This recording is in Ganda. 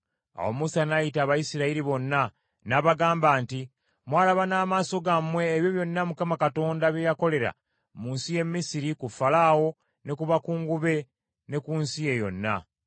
Awo Musa n’ayita Abayisirayiri bonna n’abagamba nti, Mwalaba n’amaaso gammwe ebyo byonna Mukama Katonda bye yakolera mu nsi y’e Misiri ku Falaawo ne ku bakungu be, ne ku nsi ye yonna.